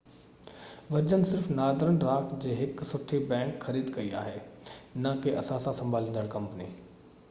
version صرف Northern Rock جي هڪ سٺي بئنڪ' خريد ڪئي آهي نہ ڪي اثاثا سنڀاليندڙ ڪمپني